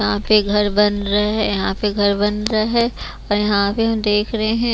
यहाँ पे घर बन रहे है यहाँ पे घर बन रहे है और यहाँ पे हम देख रहे हैं।